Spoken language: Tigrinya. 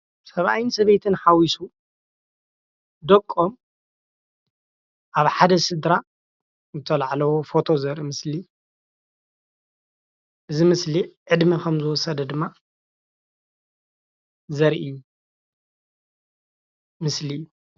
ሰብኣይን ሰበይትን ሓዊሱ ደቆም ኣብ ሓደ ስድራ ዝተላዓልዎ ፎቶ ዘርኢ ምስሊ እዩ፡፡ እዚ ምስሊ ዕድመ ከም ዝወሰደ ድማ ዘርኢ ምስሊ ፡፡